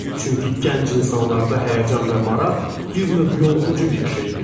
Çünki gənc insanlarda həyəcan və maraq bir növ yoluxucu bir şeydir.